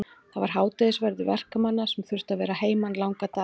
Það var hádegisverður verkamanna sem þurftu að vera að heiman langa daga.